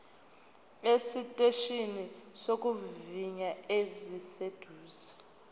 esiteshini sokuvivinya esiseduze